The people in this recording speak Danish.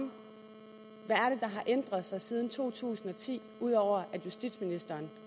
ændret sig siden to tusind og ti ud over at justitsministeren